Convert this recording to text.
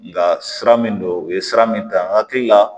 Nga sira min don u ye sira min ta n hakili la